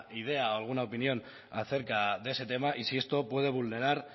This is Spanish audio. idea o alguna opinión acerca de ese tema y si esto puedo vulnerar